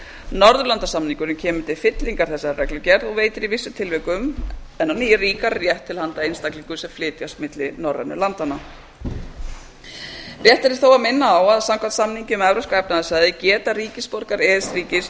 norðurlandasamningurinn kemur til fyllingar þessari reglugerð og veitir í vissum tilvikum enn ríkari réttindi til handa einstaklingum sem flytjast milli norrænu landanna rétt er þó að minna á að samkvæmt samningi um evrópska efnahagssvæðið geta ríkisborgarar e e s ríkis